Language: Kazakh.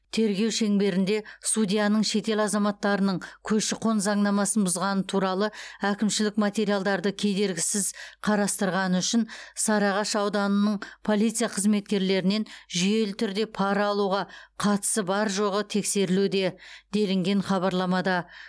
тергеу шеңберінде судьяның шетел азаматтарының көші қон заңнамасын бұзғаны туралы әкімшілік материалдарды кедергісіз қарастырғаны үшін сарыағаш ауданының полиция қызметкерлерінен жүйелі түрде пара алуға қатысы бар жоғы тексерілуде делінген хабарламада